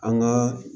An ka